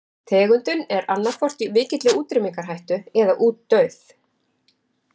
Tegundin er annaðhvort í mikilli útrýmingarhættu eða útdauð.